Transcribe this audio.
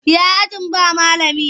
Ya ajin ba malami?